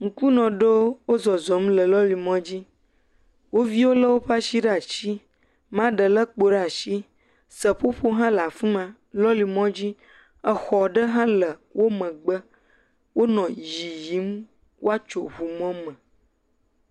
Ŋkunɔ ɖowo, wozɔzɔ̃ le lɔri mɔdzi. Wo viwo lé woƒe ashiwo ɖe ashi. Maa ɖe lé kpo ɖe ashi. Seƒoƒo hã le afi ma. Lɔli mɔdzi, exɔ ɖe hã le wo megbe. Wonɔ yiyiim woatso mɔme.